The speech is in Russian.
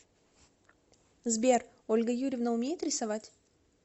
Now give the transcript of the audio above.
сбер ольга юрьевна умеет рисовать